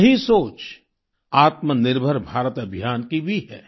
यही सोच आत्मनिर्भर भारत अभियान की भी है